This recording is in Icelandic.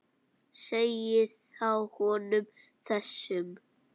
Segið þá honum þessum.